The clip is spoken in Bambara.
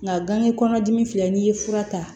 Nka gan kɔnɔdimi filɛ n'i ye fura ta